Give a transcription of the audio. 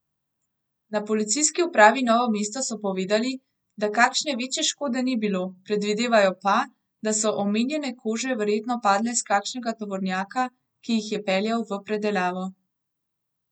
Na Policijski upravi Novo mesto so povedali, da kakšne večje škode ni bilo, predvidevajo pa, da so omenjene kože verjetno padle s kakšnega tovornjaka, ki jih je peljal v predelavo.